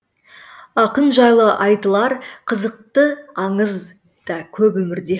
ақын жайлы айтылар қызықты аңыз да көп өмірде